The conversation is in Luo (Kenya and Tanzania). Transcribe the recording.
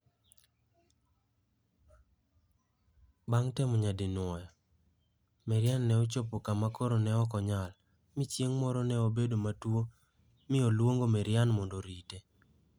Bang' temo nyadinwoya, Maryann ne ochopo kama koro ne ok onyal, mi chieng' moro ne obedo matuwo mi oluongo Maryann mondo orite.